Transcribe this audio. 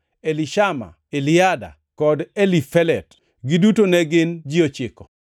Elishama, Eliada, kod Elifelet; giduto ne gin ji ochiko.